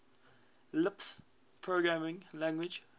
lisp programming language